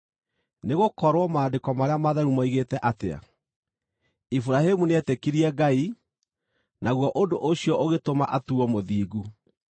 Nĩgũkorwo Maandĩko marĩa matheru moigĩte atĩa? “Iburahĩmu nĩetĩkirie Ngai, naguo ũndũ ũcio ũgĩtũma atuuo mũthingu.”